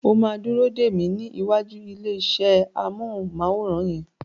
O máa dúró dè mí ní ìwàjú ilé iṣẹ́ amọ́hùnmáwòrán yẹn.